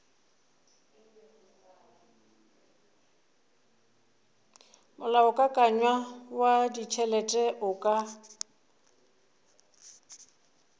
molaokakanywa wa ditšhelete o ka